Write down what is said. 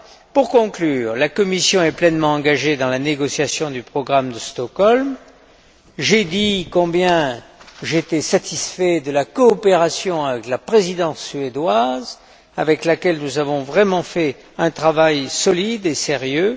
Pour conclure, la Commission est pleinement engagée dans la négociation du programme de Stockholm. J'ai dit combien j'étais satisfait de la coopération avec la Présidence suédoise, avec laquelle nous avons vraiment fait un travail solide et sérieux.